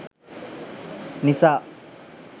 nisa